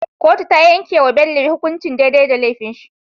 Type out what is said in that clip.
Kotu tayan yake wa Bello hukunci dai dai da lefin shi